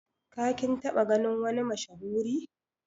Ka /kin taba ganin wani mashahuri?